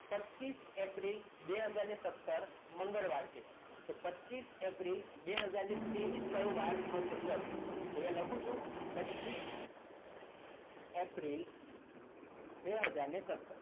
પચીસ એપ્રિલ બે હાજર સત્તર મંગળવાર છે તો પચીસ એપ્રિલ બે હાજર ત્રેવીસ કયો વાર હશે ચલો તો અહીંયા લખું છું પચીસ એપ્રિલ બે હાજર સત્તર